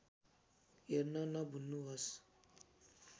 हेर्न नभुल्नुहोस्